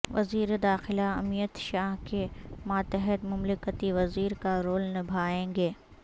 وزیر داخلہ امیت شاہ کے ماتحت مملکتی وزیر کا رول نبھائیں گے